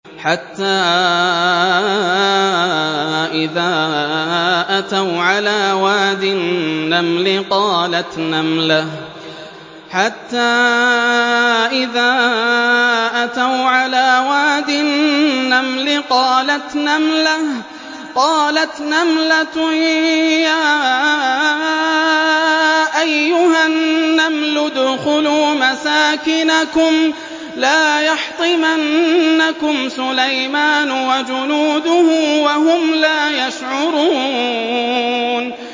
حَتَّىٰ إِذَا أَتَوْا عَلَىٰ وَادِ النَّمْلِ قَالَتْ نَمْلَةٌ يَا أَيُّهَا النَّمْلُ ادْخُلُوا مَسَاكِنَكُمْ لَا يَحْطِمَنَّكُمْ سُلَيْمَانُ وَجُنُودُهُ وَهُمْ لَا يَشْعُرُونَ